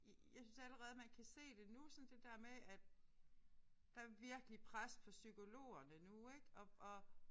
Jeg synes allerede man kan se det nu sådan det der med at der er virkelig pres på psykologerne nu ik og og